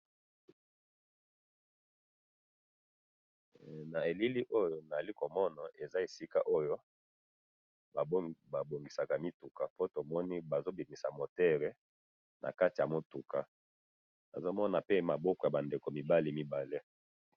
na elili oyo na zalaki komona eza esika oyo ba bongisaka mituka po tomoni bazo bimisa moteur na kati ya mutuka tozo mona pe maboko yaba ndeko mibali mibala